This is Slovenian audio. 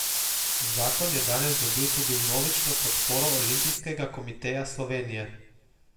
Zakon je danes dobil tudi vnovično podporo Olimpijskega komiteja Slovenije.